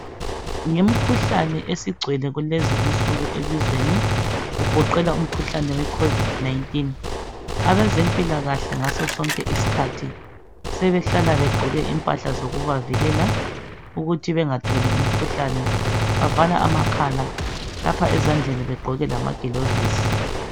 Ngemkhuhlane esigcwele kulezi insuku elizweni kugoqela umkhuhlane we COVID 19 .Abezempilkahle ngaso sonke iskhathi sebehlala begqoke impahla zokubavikela ukuthi bengatholi umkhuhlane. Bavala amakhala lapha ezandleni begqoke lamagilovisi .